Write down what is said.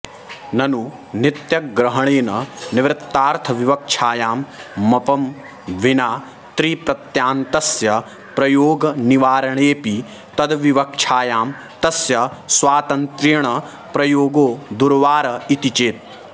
ननु नित्यग्रहणेन निर्वृत्तार्थविवक्षायां मपं विना त्रिप्रत्ययान्तस्य प्रयोगनिवारणेऽपि तदविवक्षायां तस्य स्वातन्त्र्येण प्रयोगो दुर्वार इति चेत्